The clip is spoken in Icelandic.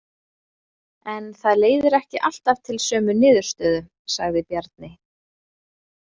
En það leiðir ekki alltaf til sömu niðurstöðu, sagði Bjarni.